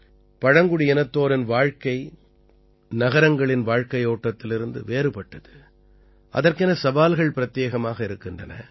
பழங்குடியினத்தோரின் வாழ்க்கை நகரங்களின் வாழ்க்கையோட்டத்திலிருந்து வேறுபட்டது அதற்கென சவால்கள் பிரத்யேகமாக இருக்கின்றன